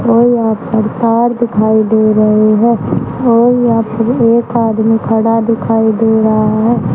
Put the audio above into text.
और यहां प्रकार दिखाई दे रहे हैं और या फिर एक आदमी खड़ा दिखाई दे रहा है।